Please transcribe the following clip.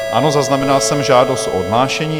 Ano, zaznamenal jsem žádost o odhlášení.